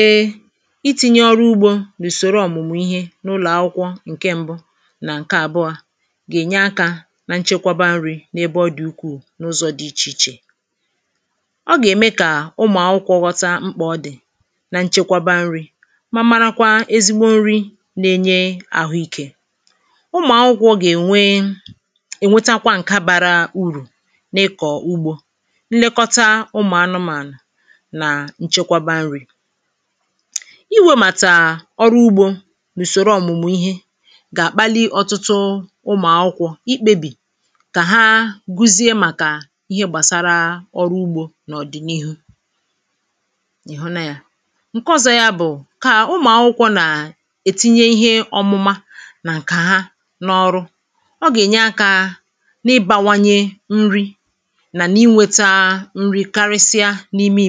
e iti̇nyė ọrụ ugbȯ n’ùsòro ọ̀mụ̀mụ̀ ihe n’ụlọ̀ akwụkwọ nkè ṁbụ̇ na ǹke àbụọ̇ gà-ènye akȧ na nchekwaba nri̇ n’ebe ọ dị̀ ukwuu n’ụzọ̇ dị ichè ichè ọ gà-ème kà ụmụ̀ akwụkwọ̇ ghọta mkpà ọ dị̀ na nchekwaba nri̇ marakwa ezigbo nri̇ na-enye àhụ ikė ụmụ̀ akwụkwọ̇ gà-ènwe ènwetakwa ǹkè bara urù n’ikọ̀ ugbȯ iwėmàtà ọrụ ugbȯ n’ùsòrò ọ̀mụ̀mụ̀ ihe gà-àkpali ọtụtụ ụmụ̀ akwụkwọ ikpebì kà ha guzie màkà ihe gbàsara ọrụ ugbȯ n’ọ̀dị̀nihu ị̀ hụnȧ yȧ ǹkẹ ọzọ yȧ bụ̀ kà ụmụ̀ akwụkwọ nà ètinye ihe ọmụma nà ǹkè ha n’ọrụ ọ gà-ènye akȧ n’ịbawanye nri̇ nà n’inwėta nri karịsịa n’ime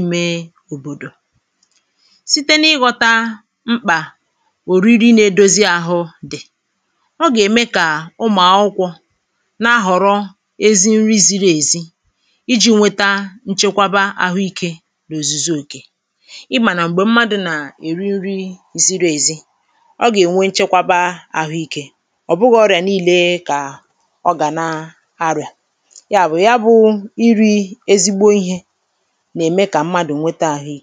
site n’ịghọ̇tȧ mkpà òriri nà-edozi àhụ dị̀ ọ gà-ème kà ụmụ̀akwụkwọ̇ na-ahọ̀rọ ezi nri ziri èzi iji̇ nweta nchekwaba àhụ ikė n’òzùzi òkè ịmànà m̀gbè mmadụ̇ nà-èri nri ziri èzi ọ gà-ènwe nchekwaba àhụ ikė ọ̀ bụghị̇ ọrịà nii̇lė kà ọ gà na arịà yà bụ̀ ya bụ̀ iri̇ ezigbo ihė anà-àkpọrọ̀ ihe dị